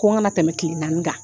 Ko n kana tɛmɛ kile naani kan.